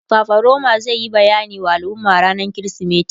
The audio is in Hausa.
fafaroma zai Yi bayani wa al'umma rannan krismeti